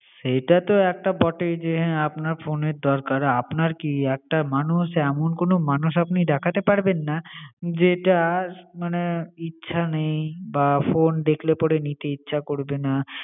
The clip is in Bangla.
সেটাতে একটা বটেই যে হা আপনার phone এর দরকার, আপনার কি একটা মানুষ এমন কোন মানুষ আপনি দেখাতে পারবেন না যে টার মানে ইচ্ছা নেই বা phone দেখলে পরে নিতে ইচ্ছে করবে না।